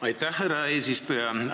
Aitäh, härra eesistuja!